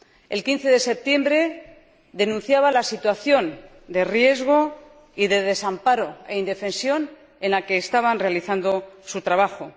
El 15 de septiembre denunciaba la situación de riesgo y de desamparo e indefensión en la que estaban realizando su trabajo.